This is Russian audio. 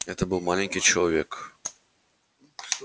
это был маленький человек